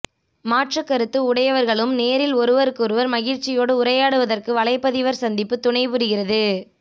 மாற்றுக் கருத்து உடையவர்களும் நேரில் ஒருவருக்கொருவர் மகிழ்ச்சியோடு உரையாடுவதற்கு வலைப்பதிவர் சந்திப்பு துணை புரிகிறது